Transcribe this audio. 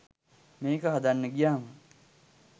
මේක හදන්න ගියාම.